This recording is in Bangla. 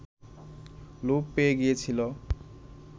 লোপ পেয়ে গিয়েছিল